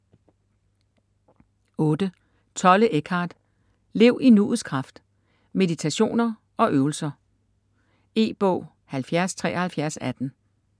Tolle, Eckhart: Lev i nuets kraft: meditationer og øvelser E-bog 707318